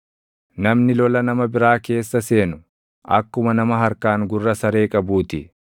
Namni lola nama biraa keessa seenu, akkuma nama harkaan gurra saree qabuu ti.